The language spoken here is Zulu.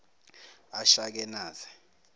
ashakenaze